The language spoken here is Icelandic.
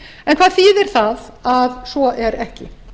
en hvað þýðir það að svo er ekki